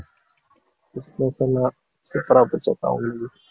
Christmas எல்லாம் super ஆ போச்சுக்கா உங்களுக்கு